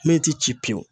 Min ti ci pewu